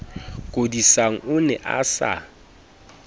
kodisang o ne a sa